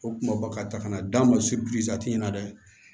O kuma bakarisa n'a d'a ma na dɛ